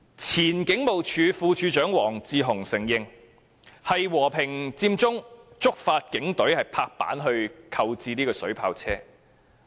前警務處副處長黃志雄承認，和平佔中觸發警隊決定購置水炮車。